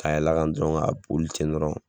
Ka yɛlɛn a kan dɔrɔn k'a boli ten dɔrɔn.